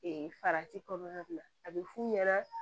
farati kɔnɔna a bɛ f'u ɲɛna